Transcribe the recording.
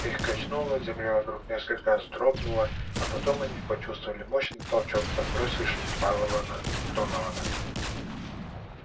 их качнуло земля вокруг несколько раз вздрогнула а потом они почувствовали мощный толчок подбросивший пауэлла на донована